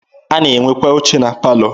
A na-enwekwa oche na palọ.